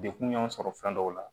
Dekun y'an sɔrɔ fɛn dɔw la